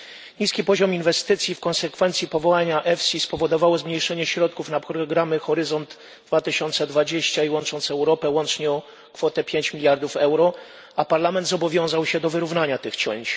Niski poziom inwestycji w konsekwencji powołania EFSI spowodował zmniejszenie środków na programy Horyzont 2020 i Łącząc Europę łącznie o kwotę 5 miliardów euro a Parlament zobowiązał się do wyrównania tych cięć.